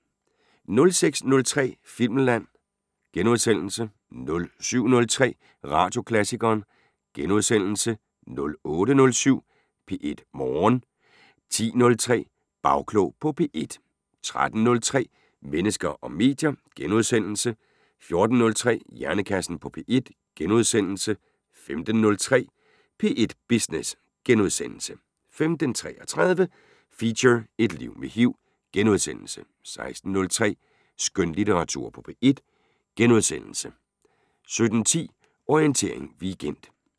06:03: Filmland * 07:03: Radioklassikeren * 08:07: P1 Morgen 10:03: Bagklog på P1 13:03: Mennesker og medier * 14:03: Hjernekassen på P1 * 15:03: P1 Business * 15:33: Feature: Et liv med HIV * 16:03: Skønlitteratur på P1 * 17:10: Orientering Weekend